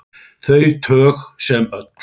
Þau tög sem öll.